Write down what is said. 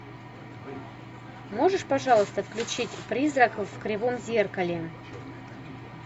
можешь пожалуйста включить призрак в кривом зеркале